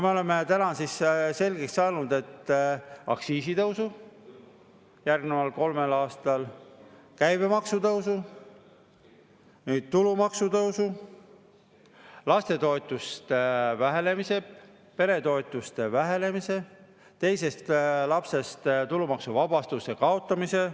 Me oleme täna selgeks saanud, et aktsiisitõusu järgneval kolmel aastal, käibemaksu tõusu, tulumaksu tõusu, lastetoetuste vähenemise, peretoetuste vähenemise, teisest lapsest tulumaksu kaotamise.